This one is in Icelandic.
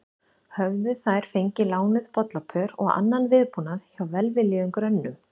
Höfðu þær fengið lánuð bollapör og annan viðbúnað hjá velviljuðum grönnum.